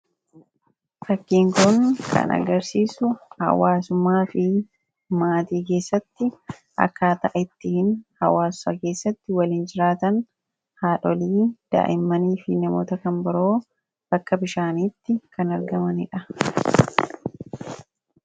Fakkiin kun kan agarsiisu hawwaasummaa di maatii keessatti akkaataa itti hawwaasa keessa waliin jiraatan haadholii, daa'imman did namoota kan biroo bakka bishaaniitti argamanidha.